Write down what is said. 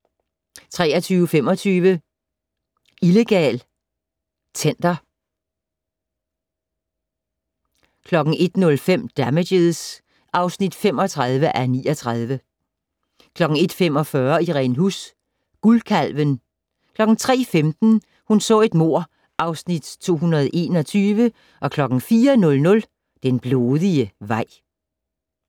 23:25: Illegal Tender 01:05: Damages (35:39) 01:45: Irene Huss: Guldkalven 03:15: Hun så et mord (Afs. 221) 04:00: Den blodige vej